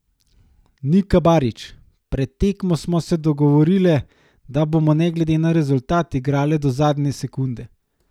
Nika Barič: "Pred tekmo smo se dogovorile, da bomo ne glede na rezultat igrale do zadnje sekunde.